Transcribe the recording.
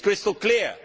It is crystal clear!